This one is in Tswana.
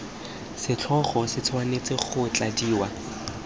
setlhogo se tshwanetse go tladiwa